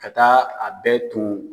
Ka taa a bɛɛ tɔn.